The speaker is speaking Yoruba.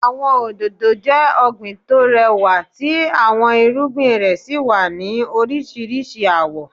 Àwọn òdòdó jẹ ọgbín tó rẹwà tí àwọn irúgbìn rẹ sí wá ní oríṣiríṣi awọ̀.